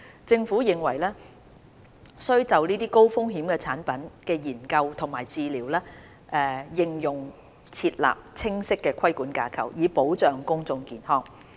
政府認為須就這些高風險產品的研究及治療應用設立清晰的規管架構，以保障公眾健康。